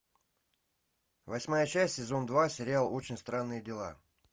восьмая часть сезон два сериал очень странные дела